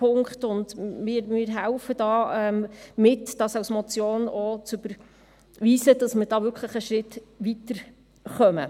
Wir helfen hier auch mit, dies als Motion zu überweisen, sodass wir da wirklich einen Schritt weiterkommen.